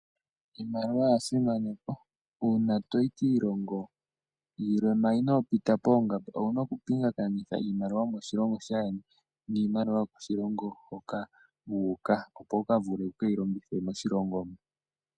Iimaliwa oyasimanekwa una toyi kiilongo yimwe manga inopita poongamba owuna okupingakanitha iimaliwa yomoshilongo shayeni niimaliwa yomoshilongo hoka wuka opo wukavulu wukeyilongithe moshilongo moka.